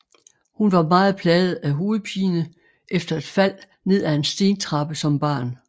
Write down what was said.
Hun var meget plaget af hovedpine efter et fald ned ad en stentrappe som barn